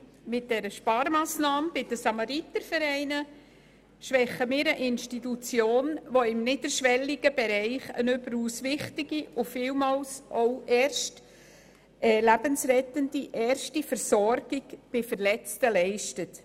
Mit der Sparmassnahme beim Dachverband der Samaritervereine schwächen wir eine Institution, die im niederschwelligen Bereich eine überaus wichtige und vielmals lebensrettende Erstversorgung von Verletzten leistet.